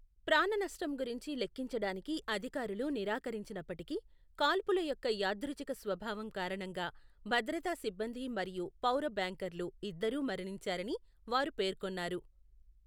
ప్రాణనష్టం గురించి లెఖించడానికి అధికారులు నిరాకరించినప్పటికీ, కాల్పుల యొక్క యాదృచ్ఛిక స్వభావం కారణంగా, భద్రతా సిబ్బంది మరియు పౌర బ్యాంకర్లు ఇద్దరూ మరణించారని వారు పేర్కొన్నారు.